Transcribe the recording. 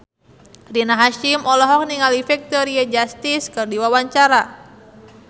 Rina Hasyim olohok ningali Victoria Justice keur diwawancara